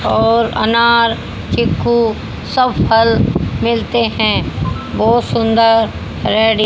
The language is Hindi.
और अनार चीकू सब फल मिलते हैं बहोत सुंदर रेड़ी--